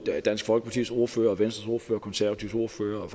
dansk folkepartis ordfører venstres ordfører og konservatives ordfører og